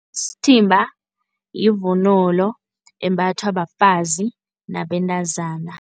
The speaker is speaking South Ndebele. Isithimba yivunulo embathwa bafazi nabentazana.